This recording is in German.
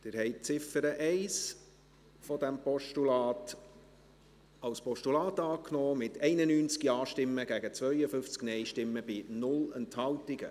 Sie haben die Ziffer 1 als Postulat angenommen, mit 91 Ja- gegen 52 Nein-Stimmen bei 0 Enthaltungen.